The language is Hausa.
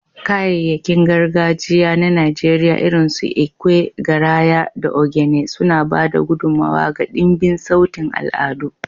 Kayayyakin gargajiya na Najeriya irinsu ekwe, garaya, da ogene suna ba da gudummawa ga dimbin sautin al'adu.